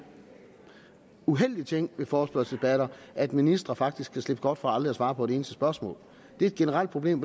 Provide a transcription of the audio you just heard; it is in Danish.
uheldig ting ved forespørgselsdebatter at ministre faktisk kan slippe godt fra aldrig at svare på et eneste spørgsmål det er et generelt problem